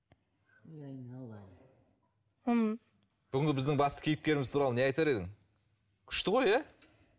бүгінге біздің басты кейіпкеріміз туралы не айтар едің күшті ғой иә